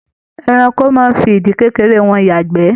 Ẹranko máa n fí ìdí kékeré wọn yagbẹ́.